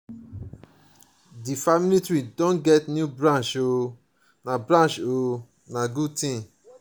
di family tree don get new branch o na branch o na good tin.